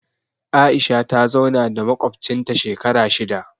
Aisha ta zauna da maƙwabcinta shekara shida